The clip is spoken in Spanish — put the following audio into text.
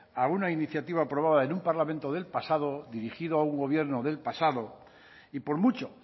a una iniciativa aprobada en un parlamento del pasado dirigido a un gobierno del pasado y por mucho